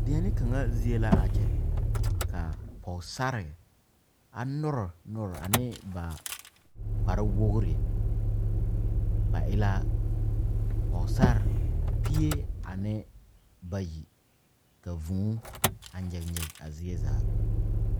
Die poɔ la ka ba are ba arɛŋ a yɛ teɛ teɛ ba seere ka kaŋa su kparoŋ k,o yaare pɔge a teŋɛ k,a die zaa a e vūūnee a kyããne kyããne.